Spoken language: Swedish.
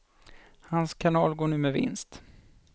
Hans kanal går nu med vinst.